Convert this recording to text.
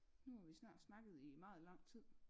Nu har vi snart snakket i meget lang tid